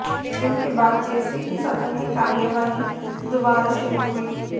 स्थगन के बाद जैसे ही सदन की कार्यवाही दोबारा शुरू हुई